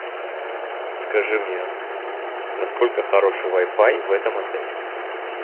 скажи мне насколько хороший вай фай в этом отеле